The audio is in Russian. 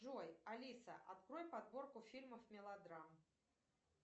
джой алиса открой подборку фильмов мелодрам